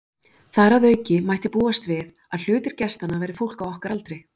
Þar að auki mætti búast við, að hluti gestanna væri fólk á okkar aldri.